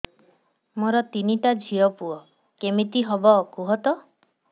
ମୋର ତିନିଟା ଝିଅ ପୁଅ କେମିତି ହବ କୁହତ